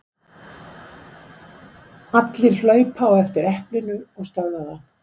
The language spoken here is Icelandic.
Allir hlaupa á eftir eplinu og stöðva það.